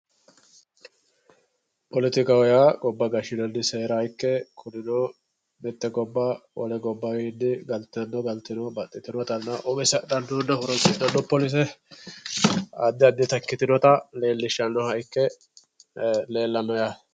poletikaho yaa gobba gashshinanni seera ikke kunino mitte gobba wole gobbawiini galtino galtino baxxitinotanna umise haxanonna horonsixxanno polise addi addita ikkitinota leellishshannoha ikke leellanno yaate.